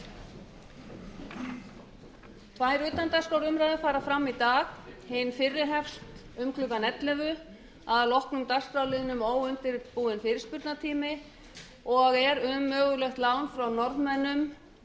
tvær utandagskrárumræður fara fram í dag hin fyrri hefst um klukkan ellefu að loknum dagskrárliðnum óundirbúinn fyrirspurnatími og er um mögulegt lán frá norðmönnum